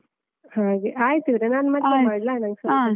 ಹಾಗೆ ಆಯ್ತು ಇವ್ರೆ ನಾನು ಮತ್ತೆ. ಮಾಡ್ಲಾ? ನಂಗ್ ಸ್ವಲ್ಪ ಕೆಲಸ.